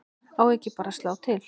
Á ekki bara að slá til?